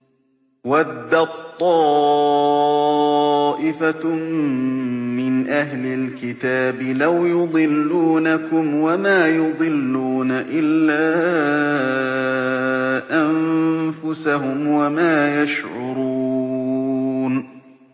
وَدَّت طَّائِفَةٌ مِّنْ أَهْلِ الْكِتَابِ لَوْ يُضِلُّونَكُمْ وَمَا يُضِلُّونَ إِلَّا أَنفُسَهُمْ وَمَا يَشْعُرُونَ